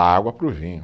água para o vinho.